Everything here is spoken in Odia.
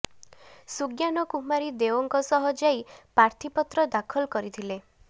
ସୁଜ୍ଞାନ କୁମାରୀ ଦେଓଙ୍କ ସହ ଯାଇ ପ୍ରାର୍ଥୀପତ୍ର ଦାଖଲ କରିଥିଲେ